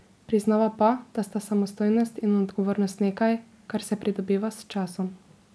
Priznava pa, da sta samostojnost in odgovornost nekaj, kar se pridobiva s časom.